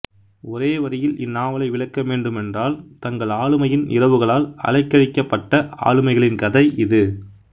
ஒரே வரியில் இந்நாவலை விளக்கவேண்டுமென்றால் தங்கள் ஆளுமையின் இரவுகளால் அலைக்கழிக்கபப்ட்ட ஆளுமைகளின் கதை இது